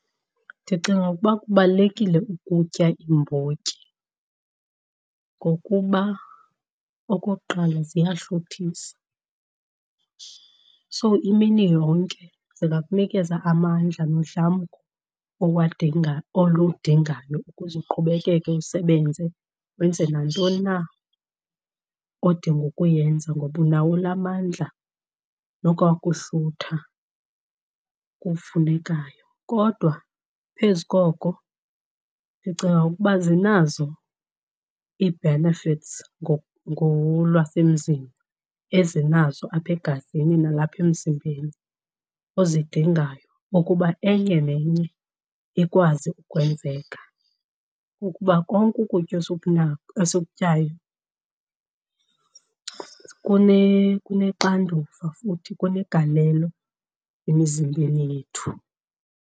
Ndicinga ukuba kubalulekile ukutya iimbotyi ngokuba, okokuqala, ziyahluthisa so imini yonke zingakunikeza amandla nodlamko oludingayo ukuze uqhubekeke usebenze wenze nantoni na odinga ukuyenza ngoba unawo la mandla nokwakuhlutha kufunekayo. Kodwa phezu koko ndicinga ukuba zinazo ii-benefits ngolwasemzini ezinazo apha egazini nalapha emzimbeni ozidingayo okuba enye nenye ikwazi ukwenzeka. Ukuba konke ukutya esikutyayo kunexanduva futhi kunegalelo emizimbeni yethu.